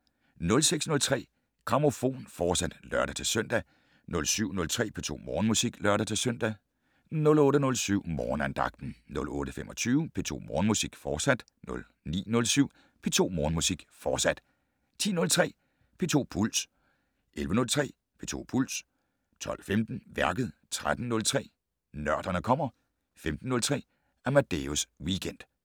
06:03: Grammofon, fortsat (lør-søn) 07:03: P2 Morgenmusik (lør-søn) 08:07: Morgenandagten 08:25: P2 Morgenmusik, fortsat 09:07: P2 Morgenmusik, fortsat 10:03: P2 Puls 11:03: P2 Puls 12:15: Værket 13:03: Nørderne kommer 15:03: Amadeus Weekend